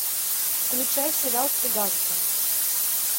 включай сериал цыганка